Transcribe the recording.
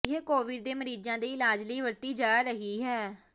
ਇਹ ਕੋਵਿਡ ਦੇ ਮਰੀਜ਼ਾਂ ਦੇ ਇਲਾਜ ਲਈ ਵਰਤੀ ਜਾ ਰਹੀ ਹੈ